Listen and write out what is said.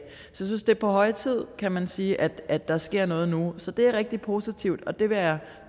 synes det er på høje tid kan man sige at der sker noget nu så det er rigtig positivt og det vil jeg